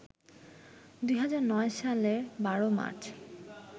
২০০৯ সালের ১২ মার্চ